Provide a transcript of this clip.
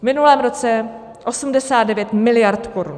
V minulém roce 89 miliard korun.